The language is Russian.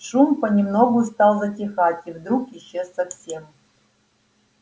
шум понемногу стал затихать и вдруг исчез совсем